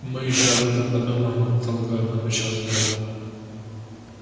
мы ещё об этом подумаем и потолкуем отвечал генерал